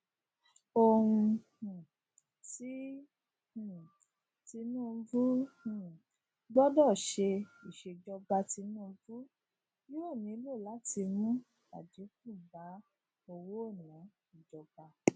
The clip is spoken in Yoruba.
ohun um ti um tinubu um gbọdọ ṣe iṣejọba tinubu yoo nilo lati mu adinku ba owonaa ijọba